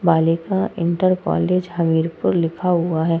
बालिका inter college Hamirpur लिखा हुआ है।